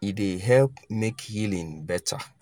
e dey help make healing better.